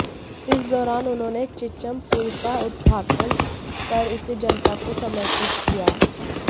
इस दौरान उन्होंने चिच्चम पुल का उद्घाटन कर इसे जनता को समर्पित किया